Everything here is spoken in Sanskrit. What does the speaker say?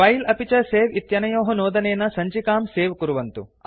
फिले अपि च सवे इत्यनयोः नोदनेन सञ्चिकां सेव् कुर्वन्तु